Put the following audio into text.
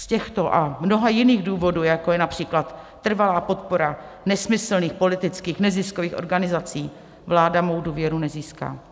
Z těchto a mnoha jiných důvodů, jako je například trvalá podpora nesmyslných politických neziskových organizací, vláda mou důvěru nezíská.